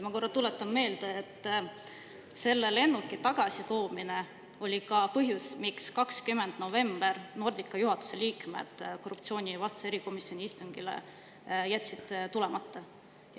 Ma tuletan meelde, et selle lennuki tagasitoomine oli ka põhjus, miks 20. novembril Nordica juhatuse liikmed korruptsioonivastase erikomisjoni istungile jätsid tulemata.